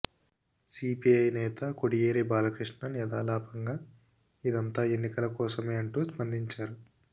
CPI నేత కొడియేరి బలాకృష్ణన్ యథాలాపంగా ఇదంతా ఎన్నికల కోసమే అంటూ స్పందించారు